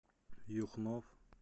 юхнов